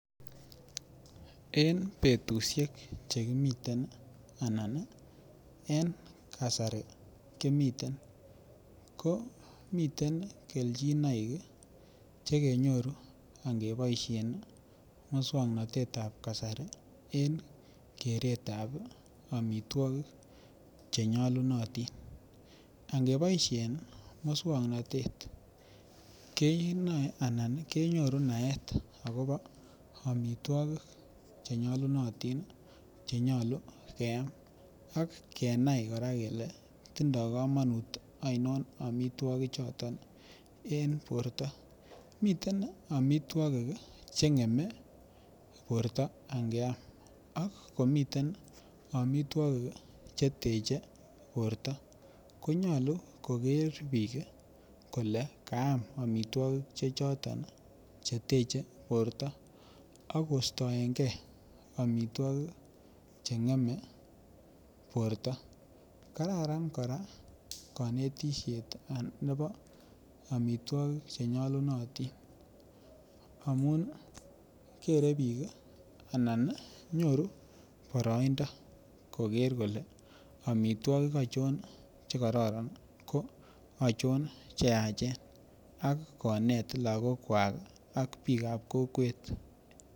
En betusiek Che kimiten anan kasari kimiten komi kelchinoik Che kenyoru angeboisien moswoknatetab kasari en keretab amitwogik Che nyolunotin angeboisien moswoknatet kenyoru naet akobo amitwogik Che nyolu keam ak kenai kora kele bo kamanut ainon amitwogichoto en borto miten amitwogik ngemei borto angeam ak komiten amitwogik Che teche borto angeam ko nyolu koger bik kole kaam amitwogik Che choton Che teche borto akostoege amitwogik Che ngemei borto kararan kora konetisiet nebo amitwogik Che nyolunotin anan nyoru boroindo koker kole amitwogik achon Che kororon ko achon Che yachen ak konet lagokwak ak bikap kokwet